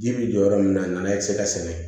Ji bi jɔ yɔrɔ min na n'a ti se ka sɛgɛn